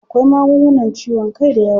Akwai magungunan ciwon kai dayawa.